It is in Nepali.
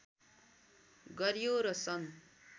गर्‍यो र सन्